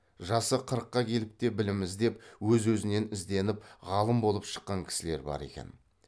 жасы қырыққа келіп те білім іздеп өз өзінен ізденіп ғалым болып шыққан кісілер бар екен